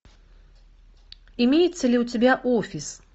имеется ли у тебя офис